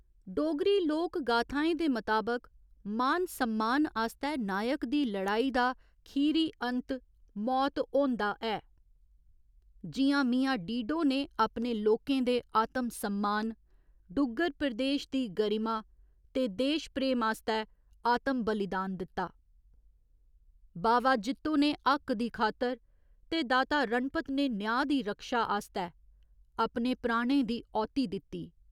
डोगरी लोकगाथाएं दे मताबक मान सम्मान आस्तै नायक दी लड़ाई दा खीरी अंत मौत होंदा ऐ, जि'यां मियां डीडो ने अपने लोकें दे आत्म सम्मान, डुग्गर प्रदेश दी गरिमा ते देश प्रेम आस्तै आत्म बलिदान दित्ता, बावा जित्तो ने हक्क दी खातर ते दाता रणपत ने न्यांऽ दी रक्षा आस्तै अपने प्राणें दी औह्ती दित्ती।